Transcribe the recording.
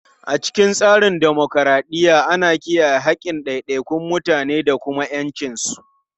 A cikin tsarin dimokuradiyya, ana kiyaye haƙƙin ɗaiɗaikun mutane da ƴancinsu.